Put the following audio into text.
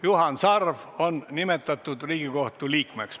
Juhan Sarv on nimetatud Riigikohtu liikmeks.